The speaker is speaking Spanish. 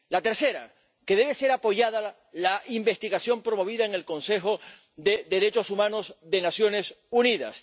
la tercera, que debe ser apoyada la investigación promovida en el Consejo de Derechos Humanos de las Naciones Unidas